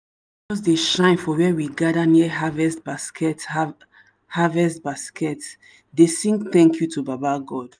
fjust dey shine for where we gather near harvest basket harvest basket dey sing thank you to baba god.